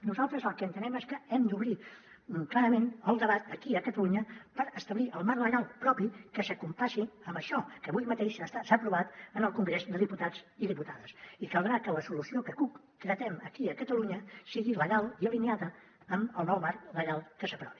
nosaltres el que entenem és que hem d’obrir clarament el debat aquí a catalunya per establir el marc legal propi que es compassi amb això que avui mateix s’ha aprovat en el congrés de diputats i diputades i caldrà que la solució que cup tenim aquí a catalunya sigui legal i alineada amb el nou marc legal que s’aprovi